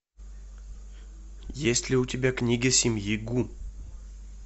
есть ли у тебя книга семьи гу